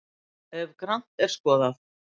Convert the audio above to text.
ef grannt er skoðað